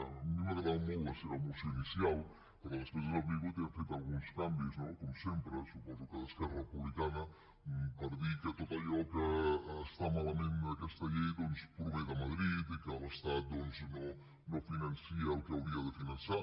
a mi m’ha agradat molt la seva moció inicial però després ens han vingut i han fet alguns canvis no com sempre suposo que d’esquerra republicana per dir que tot allò que està malament en aquesta llei doncs prové de madrid i que l’estat doncs no finança el que hauria de finançar